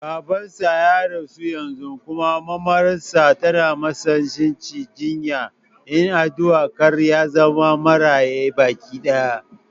Baban sa ya rasu yanzu kuma mamar sa tana matsanancin jinya, ina addu'a kar yazama Maraya baki ɗaya